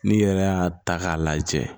N'i yɛrɛ y'a ta k'a lajɛ